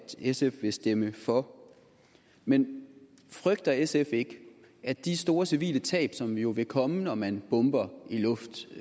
sf vil stemme for men frygter sf ikke at de store civile tab som jo vil komme når man bomber